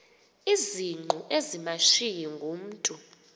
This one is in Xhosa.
izingqu ezimashiyi ngumntu